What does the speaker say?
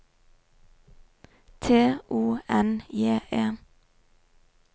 T O N J E